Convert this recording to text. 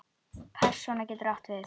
Persóna getur átt við